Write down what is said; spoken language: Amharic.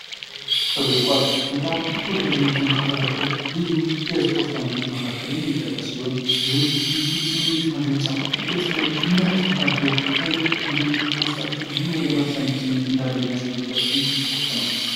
እግር ኳስ በጣም ተወዳጅነት ካተረፉ ልዩ የእስፖርት እይነቶች መካከል የሚጠቀስ ሲሆን ይህም ልዩ ስሜት መግለጫ የተለያዩ ክለቦች ምን ያህል ተጋድሎ ተጋድሎ ሃይል እንዲሁም ውስጣቸው ምን ያህል ለማሸነፍ ስሜት እንዳለ የሚያሳዩበት እስፖርት ነው።